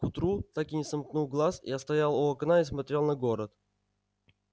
к утру так и не сомкнув глаз я стоял у окна и смотрел на город